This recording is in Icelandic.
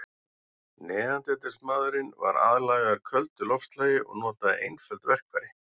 Neanderdalsmaðurinn var aðlagaður köldu loftslagi og notaði einföld verkfæri.